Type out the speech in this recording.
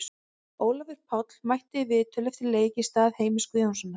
Ólafur Páll mætti í viðtöl eftir leik í stað Heimis Guðjónssonar.